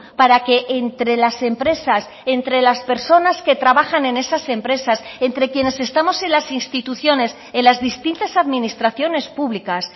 para que entre las empresas entre las personas que trabajan en esas empresas entre quienes estamos en las instituciones en las distintas administraciones públicas